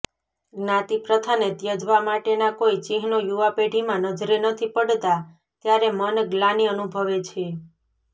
જ્ઞાતિપ્રથાને ત્યજવા માટેનાં કોઈ ચિહ્નો યુવાપેઢીમાં નજરે નથી પડતાં ત્યારે મન ગ્લાનિ અનુભવે છે